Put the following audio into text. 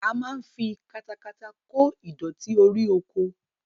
A máa ń fi katakata kó ìdọ̀tí orí oko